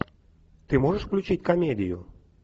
ты можешь включить комедию